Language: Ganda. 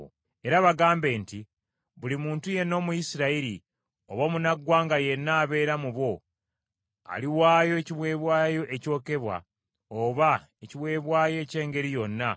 “Era bagambe nti, Buli muntu yenna Omuyisirayiri, oba omunnaggwanga yenna abeera mu bo, aliwaayo ekiweebwayo ekyokebwa, oba ekiweebwayo eky’engeri yonna,